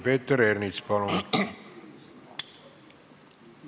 Peeter Ernits, palun!